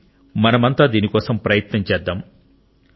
రండి మనమంతా దీనికోసం ప్రయత్నం చేద్దాం